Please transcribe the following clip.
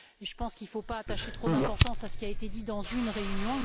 Je pense qu'il ne faut pas attacher trop d'importance à ce qui a été dit dans une réunion.